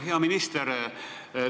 Hea minister!